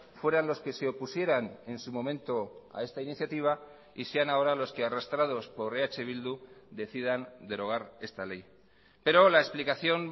fueran los que se opusieran en su momento a esta iniciativa y sean ahora los que arrastrados por eh bildu decidan derogar esta ley pero la explicación